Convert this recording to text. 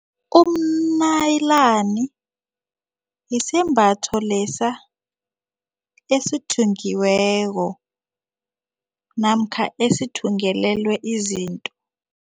Umnayilani yisembatho lesa esithungiweko namkha esithungelelwe izinto.